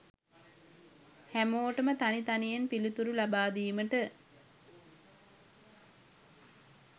හැමෝටම තනි තනියෙන් පිළිතුරු ලබා දීමට